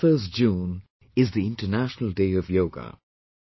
21st June is the International Day of Yoga